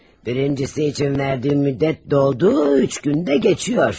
Birincisi üçün verdiyim müddət doldu, üç gün də keçir.